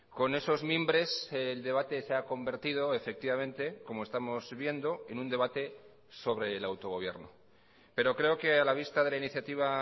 con esos mimbres el debate se ha convertido efectivamente como estamos viendo en un debate sobre el autogobierno pero creo que a la vista de la iniciativa